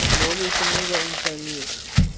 mhobe usinika umfaniso